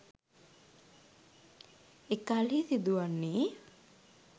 එකල්හි සිදුවන්නේ